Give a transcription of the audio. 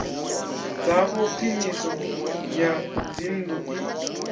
dzavho khwiniso ya dzinnḓu i